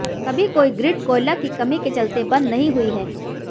कभी कोई ग्रिड कोयला की कमी के चलते बंद नहीं हुई है